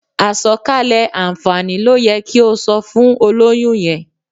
Àsọ̀kalẹ̀ àǹfààní ló yẹ kí o sọ fún olóyún yẹn.